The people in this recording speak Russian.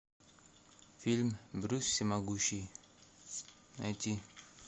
фильм брюс всемогущий найти